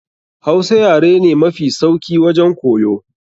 Hausa yare ne mafi sauki wajen koyo.